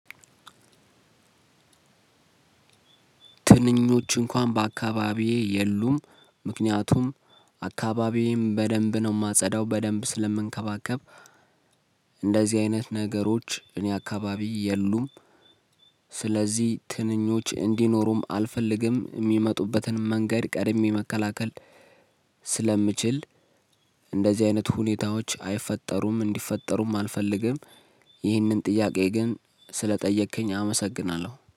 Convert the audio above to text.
ትንኞች እንኳን በአካባቢዬ የሉም ምክንያቱም አካባቢዬም በደንብ ነው የማጸዳው በደንብ ስለምንከባከብ እንደዚህ አይነት ነገሮች እኔ አካባቢ የሉም። ስለዚህ ትንኞች እንዲኖሩም አልፈልግም የሚመጡበትን መንገድ ቀድሜ መከላከል ስለምችል እንደዚህ አይነት ሁኔታዎች አይፈጠሩም እንዲፈጠሩም አልፈልግም። ይህንን ጥያቄ ግን ስለጠየከኝ አመሰግናለሁ